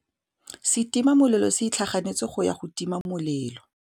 Setima molelô se itlhaganêtse go ya go tima molelô.